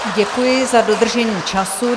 Děkuji za dodržení času.